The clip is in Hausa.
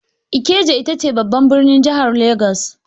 Ikeja ita ce babban birnin jahar Legas